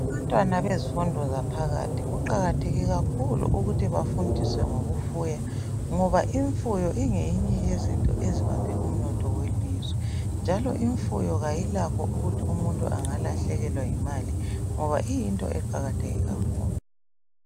Abantwana bezifundo zaphakathi kuqakatheke kakhulu ukuthi bafundiswe ngokufuya ngoba imfuyo ingeyinye yezinto ezibambe umnotho we lizwe imfuyo ayikakho ukuthi umuntu engalahlekela yi ngoba iyinto eqakatheke kakhulu.